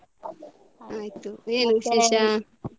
ಆಯ್ತು ಏನು ವಿಶೇಷ?